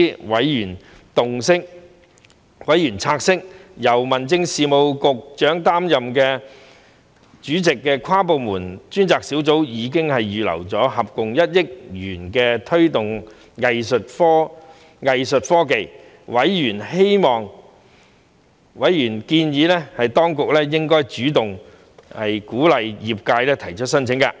委員察悉由民政事務局局長擔任主席的跨部門專責小組已預留合共1億元推動藝術科技，並建議當局應主動鼓勵業界提出申請。